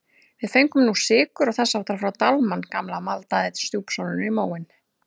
Við fengum nú sykur og þess háttar frá Dalmann gamla maldaði stjúpsonurinn í móinn.